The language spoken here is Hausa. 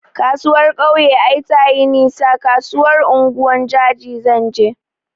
Kasuwar kauye ai tayi nisa, kasuwar unguwar jaji zanje